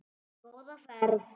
Góða ferð.